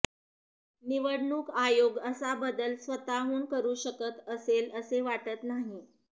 निवडणूक आयोग असा बदल स्वतःहून करू शकत असेल असे वाटत नाही